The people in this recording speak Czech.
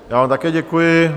Já vám také děkuji.